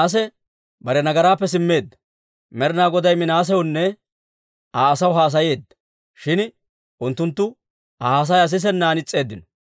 Med'inaa Goday Minaasewunne Aa asaw haasayeedda; shin unttunttu Aa haasayaa sisennan is's'eeddino.